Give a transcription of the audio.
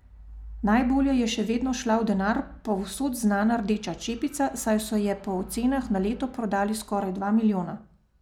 Najbolje je še vedno šla v denar povsod znana rdeča čepica, saj so je po ocenah na leto prodali skoraj dva milijona.